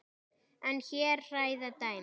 En hér hræða dæmin.